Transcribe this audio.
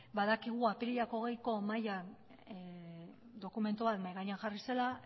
badakigu apirilak hogeiko mahaian dokumentua mahai gainean jarri zela